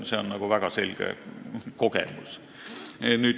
See on väga selge kogemus.